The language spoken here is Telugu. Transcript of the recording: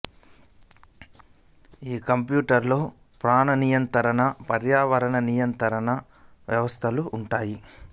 ఈ క్యాప్స్యూల్లో ప్రాణ నియంత్రణ పర్యావరణ నియంత్రణ వ్యవస్థలు ఉంటాయి